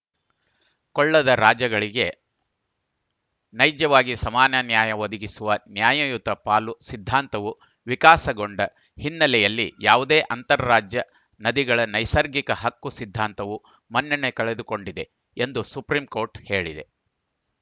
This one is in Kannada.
ಕೊಳ್ಳದ ರಾಜ್ಯಗಳಿಗೆ ನೈಜವಾಗಿ ಸಮಾನ ನ್ಯಾಯ ಒದಗಿಸುವ ನ್ಯಾಯಯುತ ಪಾಲು ಸಿದ್ಧಾಂತವು ವಿಕಾಸಗೊಂಡ ಹಿನ್ನೆಲೆಯಲ್ಲಿ ಯಾವುದೇ ಅಂತರ್‌ ರಾಜ್ಯ ನದಿಗಳ ನೈಸರ್ಗಿಕ ಹಕ್ಕು ಸಿದ್ಧಾಂತವು ಮನ್ನಣೆ ಕಳೆದುಕೊಂಡಿದೆ ಎಂದು ಸುಪ್ರೀಂಕೋರ್ಟ್‌ ಹೇಳಿದೆ